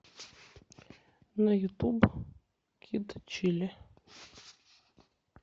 на ютуб кид чилли